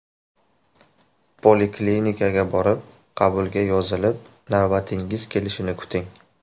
Poliklinikaga borib, qabulga yozilib navbatingiz kelishini kuting!